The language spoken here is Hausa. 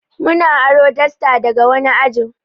Muna aro dasta daga wani ajin